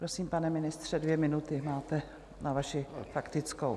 Prosím, pane ministře, dvě minuty máte na vaši faktickou.